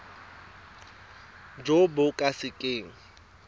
jo bo ka se keng